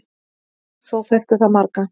Þó þekkti það marga.